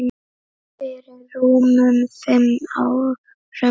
Fyrir rúmum fimm árum.